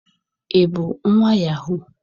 Ị bụ nwa yahoo?